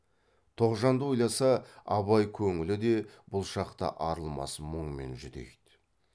тоғжанды ойласа абай көңілі де бұл шақта арылмас мұңмен жүдейді